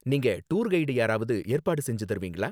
நீங்க tour guide யாராவது ஏற்பாடு செஞ்சு தருவீங்களா?